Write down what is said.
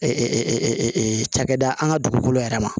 cakɛda an ka dugukolo yɛrɛ ma